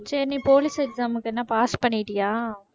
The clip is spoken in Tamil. சரி நீ police exam க்கு என்ன pass பண்ணிட்டியா?